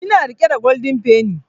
Ina riƙe da golden penny